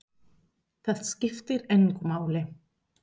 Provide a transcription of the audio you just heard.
Það skiptir engu máli!